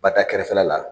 Ba ta kɛrɛfɛla la